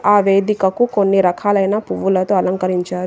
ఆ వేదికకు కొన్ని రకాలైన పువ్వులతో అలంకరించారు.